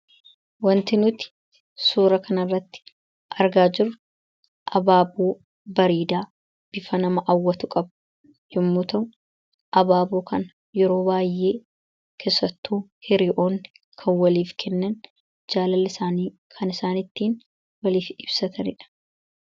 Wanti nuti suura kana irratti argaa jiru abaaboo bareedaa bifa nama awwatu qabu yommu ta'u abaaboo kan yeroo baay'ee keessattuu hiriyyoonni kan waliif kennan jaalala kan isaanii kan ittiin waliif ibsataniidha.